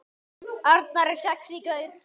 Arnar er sexí gaur.